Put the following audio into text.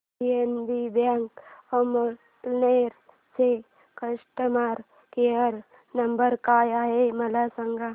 PNB bank Amalner चा customer care number काय आहे मला सांगा